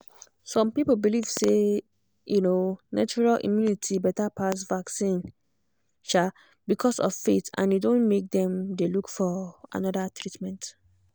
some people believe say um natural immunity better pass vaccine um because of faith and e don make dem dey look for another treatment.